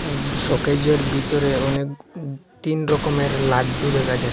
সোকেজের ভিতরে অনেক তিন রকমের লাড্ডু দেখা যাচ্ছ--